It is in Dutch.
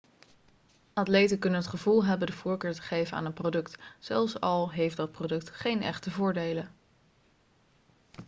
atleten kunnen het gevoel hebben de voorkeur te geven aan een product zelfs al heeft dat product geen echte voordelen